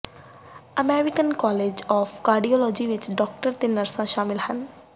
American college of cardiology ਵਿਚ doctor ਅਤੇ ਨਰਸਾਂ ਸ਼ਾਮਲ ਹਨ